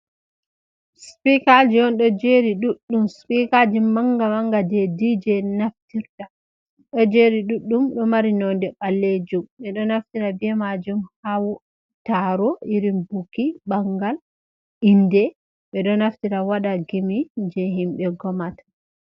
Sipikaji on ɗo jeri ɗuɗɗum sipikalji manga manga je d je en naftirta ɗo jeri ɗuɗɗum ɗo mari nonde ɓallejum ɓeɗo naftira ɓe majum ha taro irin buki ɓangal inde ɓeɗo naftira waɗa gimi je himɓe ngomata.